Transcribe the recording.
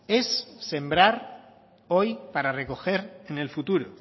es sembrar hoy para recoger en el futuro